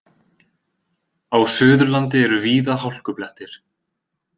Á Suðurlandi eru víða hálkublettir